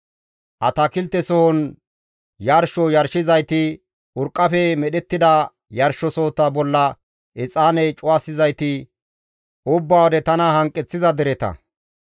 Atakiltesohon yarsho yarshizayti, urqqafe medhettida yarshosohota bolla exaane cuwasizayti, ubba wode tana hanqeththiza dereta.